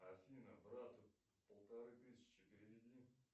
афина брату полторы тысячи переведи